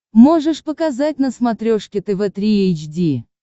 можешь показать на смотрешке тв три эйч ди